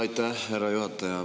Aitäh, härra juhataja!